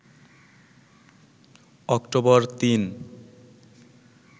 October ৩